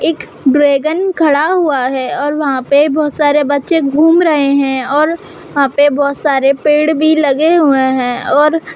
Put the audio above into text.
एक ड्रैगन खड़ा हुआ है और वहाँ पे बहोत सारे बच्चे घूम रहे हैं और वहाँ पे बहोत सारे पेड़ भी लगे हुए हैं और --